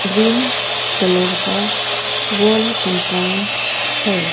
Green colour का world compound है।